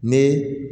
Ne